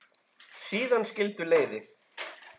Síðan skildu leiðir.